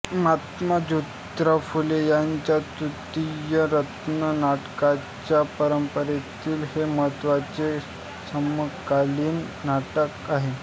महात्मा जोतीराव फुले यांच्या तृतीय रत्न नाटकाच्या परंपरेतील हे महत्त्वाचे समकालीन नाटक आहे